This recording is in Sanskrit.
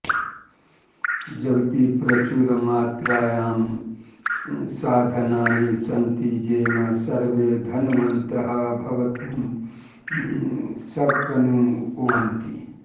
जगति प्रचुरमात्रायां साधनानि सन्ति येन सर्वे धनवन्तः भवितुं शक्नुवन्ति